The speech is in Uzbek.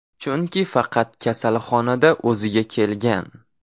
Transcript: Chunki faqat kasalxonada o‘ziga kelgan.